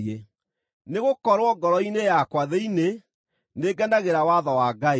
Nĩgũkorwo ngoro-inĩ yakwa thĩinĩ, nĩngenagĩra watho wa Ngai;